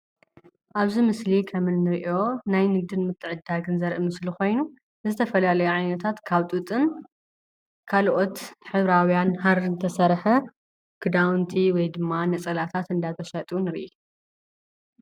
ኣብዚ ምስሊ ከም ንሪኦ ናይ ንግድን ምትዕድዳግን ዘርኢ ምስሊ ኮይኑ ዝተፈላለዩ ዓይነታት ካብ ጡጥን ካልኦት ሕብራውያን ሃሪን ዝተሰርሐ ክዳውንቲ ወይ ድማ ነፀላታት እናተሸጡ ንርኢ፡፡